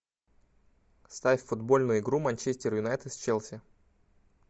ставь футбольную игру манчестер юнайтед с челси